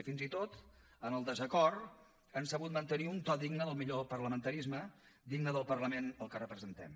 i fins i tot en el desacord han sabut mantenir un to digne del millor parlamentarisme digne del parlament que representem